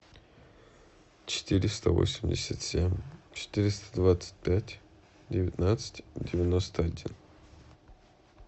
четыреста восемьдесят семь четыреста двадцать пять девятнадцать девяносто один